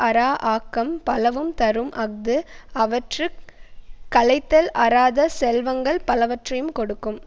அறா ஆக்கம் பலவும் தரும் அஃது அவற்றுக் களைத்தல் அறாத செல்வங்கள் பலவற்றையும் கொடுக்கும்